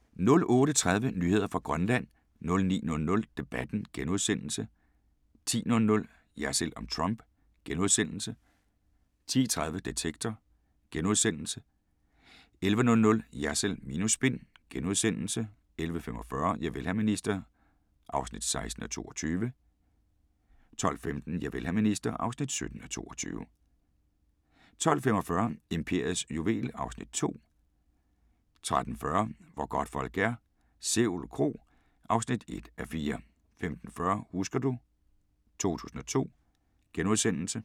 08:30: Nyheder fra Grønland 09:00: Debatten * 10:00: Jersild om Trump * 10:30: Detektor * 11:00: Jersild minus spin * 11:45: Javel, hr. minister (16:22) 12:15: Javel, hr. minister (17:22) 12:45: Imperiets juvel (Afs. 2) 13:40: Hvor godtfolk er - Sevel Kro (1:4) 15:40: Husker du ... 2002 *